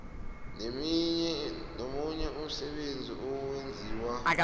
nomunye umsebenzi owenziwa